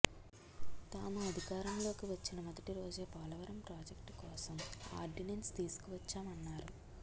తాము అధికారంలోకి వచ్చిన మొదటి రోజే పోలవరం ప్రాజెక్టు కోసం ఆర్డినెన్స్ తీసుకు వచ్చామన్నారు